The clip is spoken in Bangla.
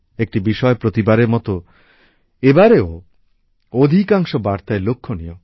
একটি বিষয় প্রতিবারের মত এবারেও অধিকাংশ বার্তায় লক্ষণীয়